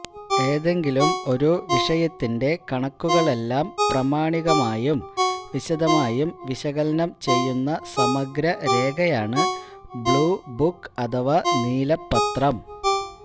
ഏതെങ്കിലും ഒരു വിഷയത്തിന്റെ കണക്കുകളെല്ലാം പ്രാമാണികമായും വിശദമായും വിശകലനം ചെയ്യുന്ന സമഗ്ര രേഖയാണ് ബ്ലൂ ബുക്ക് അഥവാ നീല പത്രം